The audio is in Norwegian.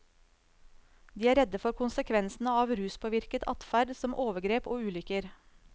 De er redde for konsekvensene av ruspåvirket adferd, som overgrep og ulykker.